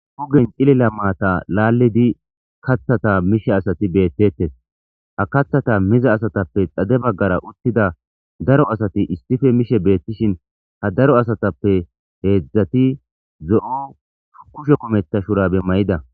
hugen xilila maata laallidi katthata mishe asati beettetes ha kathata miza asatappe xade baggara uttida daro asati istipe mishe beettishin ha daro asatappe heedzdzati zo7o kushe kumeta shurabe may7ida